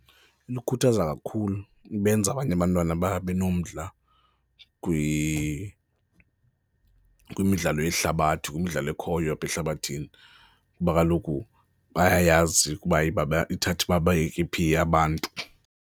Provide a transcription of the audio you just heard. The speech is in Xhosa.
Likhuthaza kakhulu, ibenza abanye abantwana babe nomdla kwimidlalo yehlabathi, kwimidlalo ekhoyo apha ehlabathini kuba kaloku bayayazi ukuba ithatha ibabeke phi abantu.